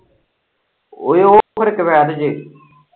ਓਏ ਉਹ ਹੁਣ ਕਵੈਤ ਚ।